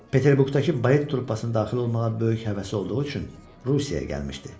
Peterburqdakı balet truppasına daxil olmağa böyük həvəsi olduğu üçün Rusiyaya gəlmişdi.